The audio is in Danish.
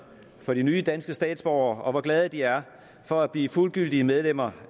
for de nye danske statsborgere og hvor glade de er for at blive fuldgyldige medlemmer